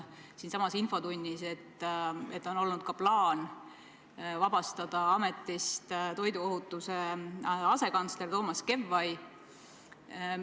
Siinsamas infotunnis selgus, et on olnud ka plaan vabastada ametist toiduohutuse asekantsler Toomas Kevvai.